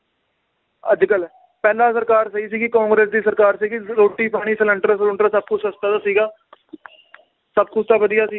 ਅੱਜਕਲ ਪਹਿਲਾਂ ਸਰਕਾਰ ਸਹੀ ਸੀਗੀ ਕਾਂਗਰਸ ਦੀ ਸਰਕਾਰ ਸੀਗੀ ਰੋਟੀ ਪਾਣੀ ਸਿਲੰਡਰ ਸਲੂੰਡਰ ਸਬ ਕੁਛ ਸਸਤਾ ਤਾਂ ਸੀਗਾ ਸਬ ਕੁਛ ਤਾਂ ਵਧੀਆ ਸੀ।